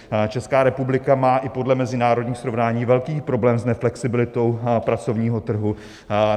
Česká republika má i podle mezinárodních srovnání velký problém s neflexibilitou pracovního trhu.